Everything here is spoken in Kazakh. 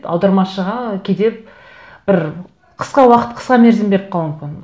аудармашыға кейде бір қысқа уақыт қысқа мерзім беріп қалу мүмкін